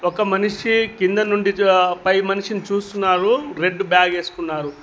ఒక మనిషి కింద నుండి పై మనిషిని చూస్తున్నారు రెడ్ బ్యాగు వేసుకున్నారు.